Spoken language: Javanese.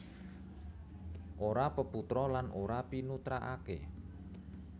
Ora peputra lan ora pinutrakaké